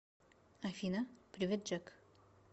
афина привет джек